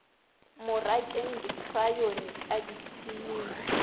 mo rakeng dikrayoni ka dithining